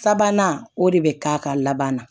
Sabanan o de bɛ k'a ka labanna